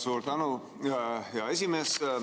Suur tänu, hea esimees!